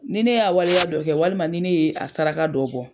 Ni ne y'a waleya dɔ kɛ walima ni ne y'a saraka dɔ bɔ.